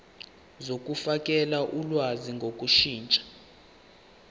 zokufakela ulwazi ngokushintsha